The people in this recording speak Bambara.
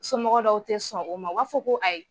Somɔgɔw dɔw tɛ sɔn o ma o b'a fɔ ko ayi.